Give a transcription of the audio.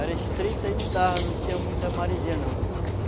Era estreita e não dava, não tinha muita maresia não.